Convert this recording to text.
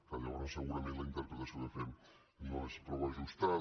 que llavors segurament la interpretació que fem no és prou ajustada